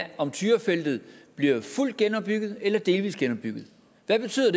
er om tyrafeltet bliver fuldt genopbygget eller delvis genopbygget hvad betyder